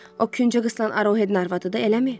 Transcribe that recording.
O Küncə qızılan Arohedin arvadıdır, eləmi?